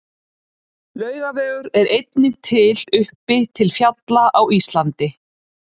Laugavegur er einnig til uppi til fjalla á Íslandi.